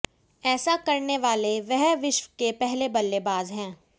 ऐसा करने वाले वह विश्व के पहले बल्लेबाज हैं